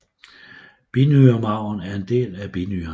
Binyremarven er en del af binyren